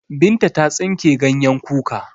Binta ta tsinke ganyen kuka.